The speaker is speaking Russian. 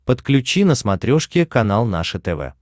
подключи на смотрешке канал наше тв